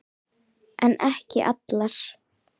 En ekki allar.